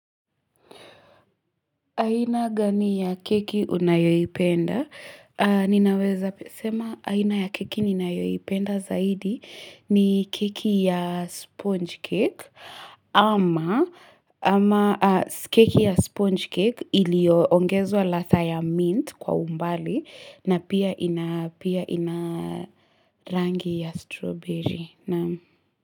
Aina gani ya keki unayoipenda? Ninaweza sema aina ya keki ninayoipenda zaidi, ni keki ya sponge cake ama keki ya sponge cake ilioongezwa ladhaa ya mint kwa umbali na pia ina rangi ya strawberry.